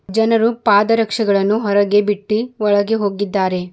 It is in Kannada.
ಜನರು ಪಾದರಕ್ಶೆಗಳನ್ನು ಹೊರಗೆ ಬಿಟ್ಟಿ ಒಳಗೆ ಹೋಗಿದ್ದಾರೆ.